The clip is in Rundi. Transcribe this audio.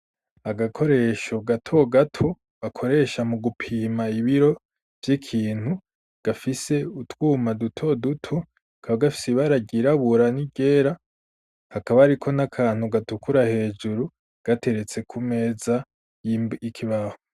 Agakoresho gato gato bakoresha mu gupima ibiro vy'ikintu gafise utwuma duto duto kaba gafise ibara ryirabura ni ryera hakaba ari ko n'akantu gatukura hejuru gateretse ku meza y'ikibaho.